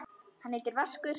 Hann heitir Vaskur.